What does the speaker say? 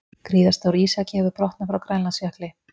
Gríðarstór ísjaki hefur brotnað frá Grænlandsjökli